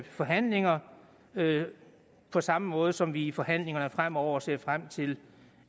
forhandlinger på samme måde som vi i forhandlingerne fremover ser frem til